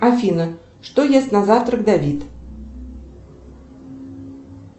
афина что ест на завтрак давид